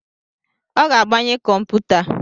Ọ ga-agbanye kọmputa